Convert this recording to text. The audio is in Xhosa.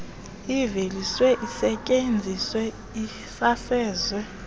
iveliswe isetyenziswe isasazwe